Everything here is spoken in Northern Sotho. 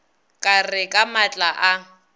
ka re ka matla a